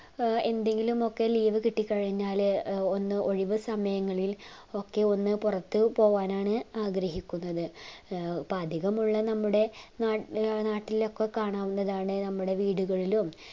എന്തെങ്കിലും ഒക്കെ leave കിട്ടിക്കഴിഞ്ഞാൽ ഒന്ന് ഒഴിവ് സമയങ്ങളിൽ ഒക്കെ ഒന്ന് പുറത്തു പോവാനാണ് ആഗ്രഹിക്കുന്നത് ഏർ ഇപ്പൊ അധികമുള്ള നമ്മുടെ നാട്ടിലൊക്കെ കാണാവുന്നതാണ് നമ്മുടെ വീടുകളിലും